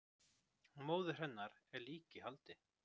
Móðir hennar er líka í haldi